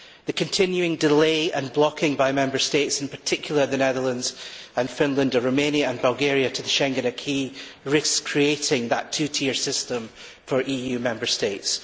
The continuing delay and blocking by Member States, in particular the Netherlands and Finland, of Romania and Bulgaria joining the Schengen acquis risks creating that two tier system for EU Member States.